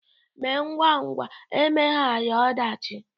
Emee ngwa ngwa emeghara ọdachi